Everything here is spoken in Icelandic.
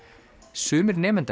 sumir nemendanna